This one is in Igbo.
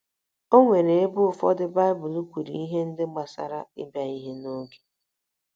O nwere ebe ụfọdụ Baịbụl kwuru ihe ndị gbasara ịbịa ihe n’oge.